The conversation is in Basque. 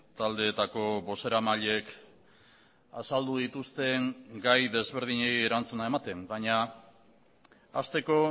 taldeetako bozeramaileek azaldu dituzten gai desberdinei erantzuna ematen baina hasteko